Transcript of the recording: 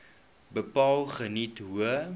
bepaal geniet hoë